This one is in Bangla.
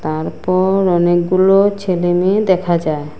তারপর অনেকগুলো ছেলেমেয়ে দেখা যায়।